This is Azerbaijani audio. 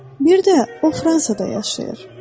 Bir də o Fransada yaşayır.